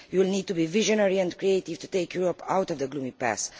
You will need to be visionary and creative to take Europe out of the gloomy past.